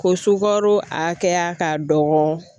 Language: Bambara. Ko sukaro a hakɛya ka dɔgɔ